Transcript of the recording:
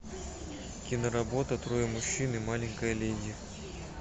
киноработа трое мужчин и маленькая леди